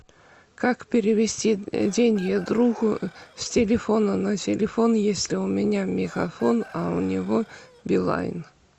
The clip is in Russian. как перевести деньги другу с телефона на телефон если у меня мегафон а у него билайн